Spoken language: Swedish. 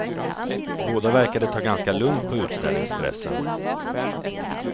Båda verkade ta ganska lugnt på utställningsstressen.